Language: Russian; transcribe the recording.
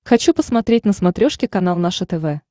хочу посмотреть на смотрешке канал наше тв